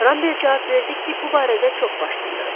Ramber cavab verdi ki, bu barədə çox baş sındırıb.